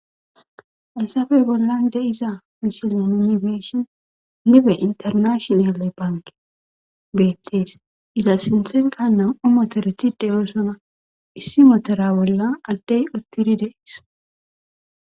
Essappe bollan de'iza misile nu be'ishshin nibe internashinale banke beettees. Iza sinittanekka nam'u moteret de' oosona issi motera bolla addee uttiri dees.